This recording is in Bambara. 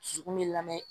Dusukun bɛ lamɛn